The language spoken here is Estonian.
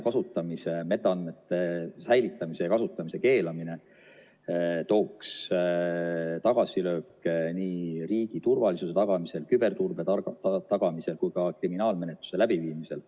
Metaandmete säilitamise ja kasutamise keelamine tooks tagasilööke nii riigi turvalisuse tagamisel, küberturbe tagamisel kui ka kriminaalmenetluse läbiviimisel.